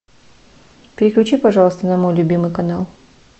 переключи пожалуйста на мой любимый канал